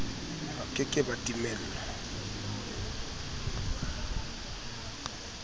ba ke ke ba timelwa